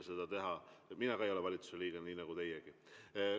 Ja ka mina ei ole valitsuse liige, nii nagu teiegi.